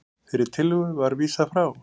Þeirri tillögu var vísað frá